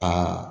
Aa